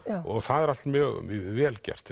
og það er allt mjög vel gert